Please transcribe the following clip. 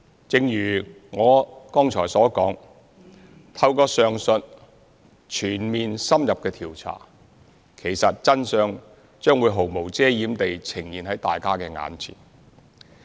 正如我剛才所說，透過上述全面、深入的調查，其實真相將會毫無遮掩地呈現在大家眼前。